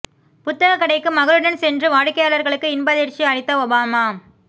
புத்தகக் கடைக்கு மகள்களுடன் சென்று வாடிக்கையாளர்களுக்கு இன்ப அதிர்ச்சி அளித்த ஒபாமா